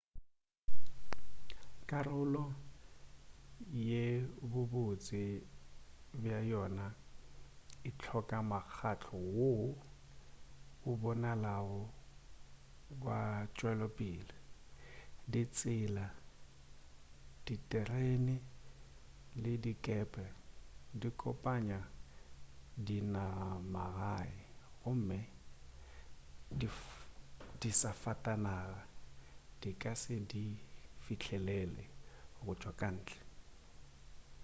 karolo ye bobotse bja yona e hloka mokgahlo woo o bonalago wa tšwelopele ditsela diterene le dikepe di kopanya dinagamagae gomme disafatanaga di ka se di fihlelele go tšwa ka ntle